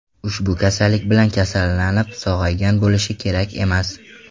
Ushbu kasallik bilan kasallanib, sog‘aygan bo‘lishi kerak emas.